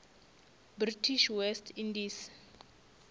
british west indies